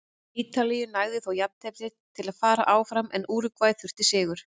Ítalíu nægði þó jafntefli til að fara áfram en Úrúgvæ þurfti sigur.